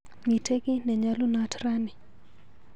Miite kiiy nenyalunot rani.